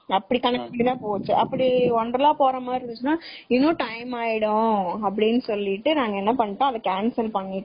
அப்படி கணக்கு பண்ணி தான் போச்சு அப்படி wonderla போறமாதிரி இருந்துச்சுன்னா இன்னும் time ஆகிரும் நாங்க என்ன பண்ணிட்டோம் அத cancel பண்ணிட்டோம்.